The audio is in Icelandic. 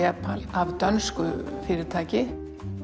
af dönsku fyrirtæki